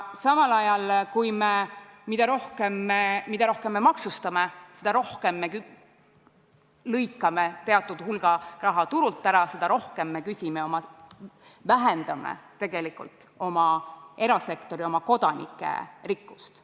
Samal ajal, mida rohkem me maksustame, seda rohkem me lõikame teatud hulga raha turult ära, seda rohkem me vähendame tegelikult erasektori, oma kodanike rikkust.